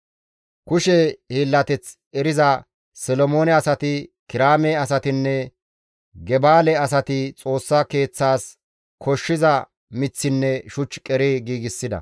Kushe hiillateth eriza Solomoone asati, Kiraame asatinne Gebaale asati Xoossa Keeththaas koshshiza miththinne shuch qeri giigsida.